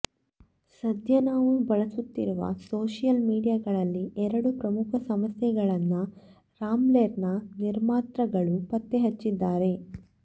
ಸದ್ಯ ನಾವು ಬಳಸುತ್ತಿರುವ ಸೋಶಿಯಲ್ ಮೀಡಿಯಾಗಳಲ್ಲಿ ಎರಡು ಪ್ರಮುಖ ಸಮಸ್ಯೆಗಳನ್ನ ರಾಬ್ಲೆರ್ ನ ನಿರ್ಮಾತೃಗಳು ಪತ್ತೆ ಹಚ್ಚಿದ್ದಾರೆ